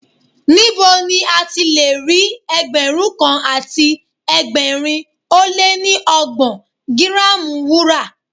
Níbo ni a ti lè rí Ẹgbẹ̀rún kan àti ẹgbẹ̀rin ó lé ní ọgbọ̀n gírámù Wúrà?